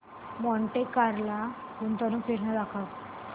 Monte Carlo गुंतवणूक योजना दाखव